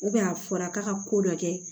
a fɔra k'a ka ko dɔ kɛ